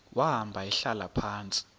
wahamba ehlala phantsi